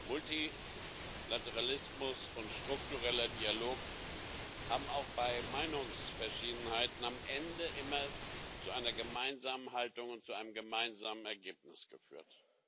Multilateralismus und struktureller Dialog haben auch bei Meinungsverschiedenheiten am Ende immer zu einer gemeinsamen Haltung und zu einem gemeinsamen Ergebnis geführt.